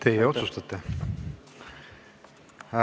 Teie otsustate.